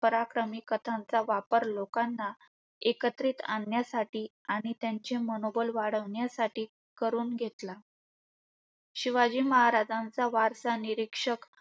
पराक्रमी कथांचा वापर लोकांना एकत्रित आणण्यासाठी आणि त्यांचे मनोबल वाढवण्यासाठी करून घेतला. शिवाजी महाराजांचा वारसा निरीक्षक